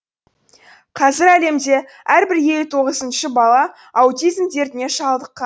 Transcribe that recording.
қазір әлемде әрбір елу тоғызыншы бала аутизм дертіне шалдыққан